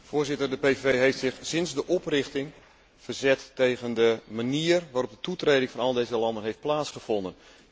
Voorzitter, de PVV heeft zich sinds de oprichting verzet tegen de manier waarop de toetreding van al deze landen heeft plaatsgevonden.